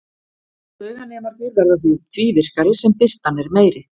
Tauganemarnir verða því virkari sem birtan er meiri.